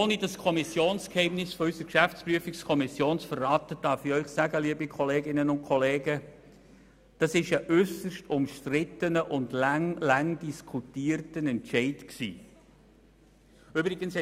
Ohne das Kommissionsgeheimnis der GPK zu verletzen, darf ich Ihnen sagen, dass es sich um einen äusserst umstrittenen und lange diskutierten Entscheid handelt.